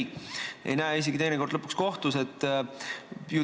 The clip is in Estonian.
Ta ei näe neid teinekord isegi kohtus mitte.